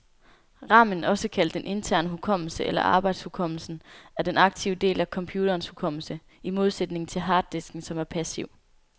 Ramen, også kaldet den interne hukommelse eller arbejdshukommelsen, er den aktive del af computerens hukommelse, i modsætning til harddisken, som er passiv.